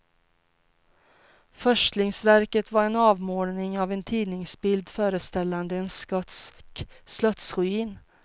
Förstlingsverket var en avmålning av en tidningsbild föreställande en skotsk slottsruin.